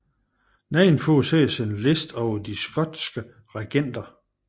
Nedenfor ses en liste over de skotske regenter